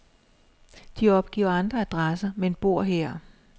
De opgiver andre adresser, men bor her.